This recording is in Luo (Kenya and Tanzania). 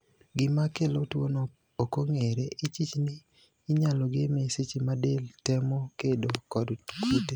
Gimakelo tuono okong`ere, ichich ni inyalo game seche madel temo kedo kod kute.